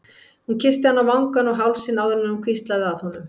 Hún kyssti hann á vangann og hálsinn áður en hún hvíslaði að honum